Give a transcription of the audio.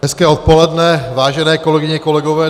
Hezké odpoledne, vážené kolegyně, kolegové.